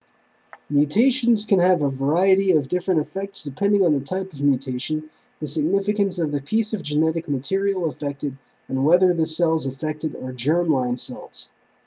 mutations can have a variety of different effects depending on the type of mutation the significance of the piece of genetic material affected and whether the cells affected are germ-line cells